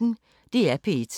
DR P1